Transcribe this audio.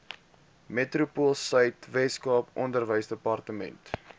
metropoolsuid weskaap onderwysdepartement